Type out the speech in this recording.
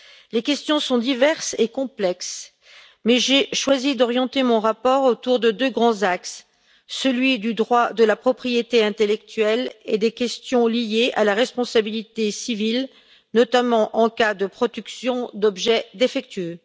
Les questions sont diverses et complexes, mais j'ai choisi d'orienter mon rapport autour de deux grands axes celui du droit de la propriété intellectuelle et des questions liées à la responsabilité civile, notamment en cas de production d'objets défectueux.